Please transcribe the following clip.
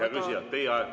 Hea küsija, teie aeg!